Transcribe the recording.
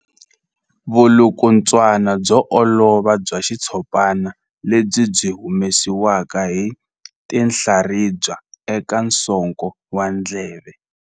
Vulukulutswana byo olova bya xitshopana lebyi byi humesiwaka hi tinhlaribya eka nsoko wa ndleve.